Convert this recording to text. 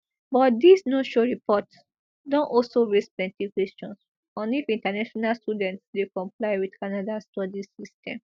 but dis no show report don also raise plenti questions on if international students dey comply wit canada study system